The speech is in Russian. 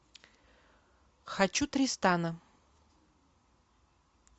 хочу тристана